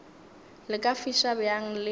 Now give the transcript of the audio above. le ka fiša bjang le